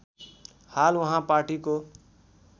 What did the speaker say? हाल उहाँ पार्टीको